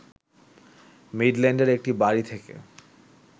মিডল্যান্ডের একটি বাড়ী থেকে